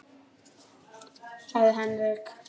sagði Henrik.